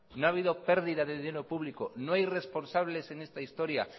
no ha habido pérdida de dinero público no hay responsables en esta historia